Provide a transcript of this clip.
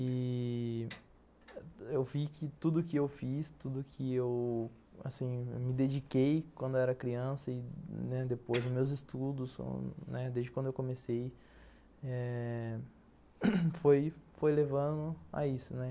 E eu vi que tudo que eu fiz, tudo que eu... assim, me dediquei quando eu era criança e depois dos meus estudos, desde quando eu comecei eh...foi levando a isso.